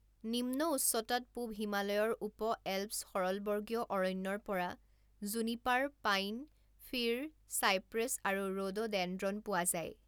নিম্ন উচ্চতাত পূৱ হিমালয়ৰ উপ-এল্পছ সৰলবৰ্গীয় অৰণ্যৰ পৰা জুনিপাৰ, পাইন, ফিৰ, চাইপ্ৰেছ আৰু ৰড'ডেনড্ৰন পোৱা যায়।